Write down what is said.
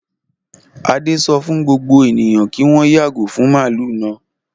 Adé sọ fún gbogbo ènìyàn kí wọ́n yàgò fún màlúù náà.